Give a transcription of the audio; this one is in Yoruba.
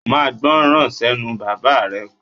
O máa gbọ́ran sẹ́nu bàbáà rẹ!